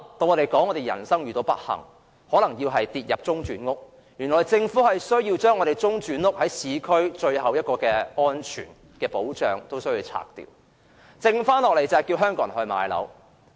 如果人生遇到不幸，可能要入住中轉房屋，但現在政府連市區最後一座中轉屋也要拆除，變相迫使香港人買樓。